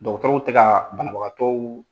Dɔgɔtɔrɔw tɛ ka banabagatɔw